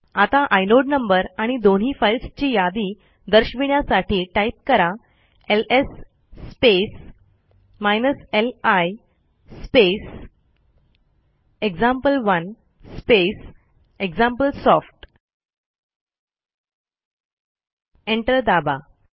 आता inode number आणि दोन्ही फाईल्सची यादी दर्शविण्यासाठी टाईप करा LS space li space example one space example soft enter दाबा